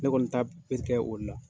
Ne kɔni ta bɛ kɛ o la.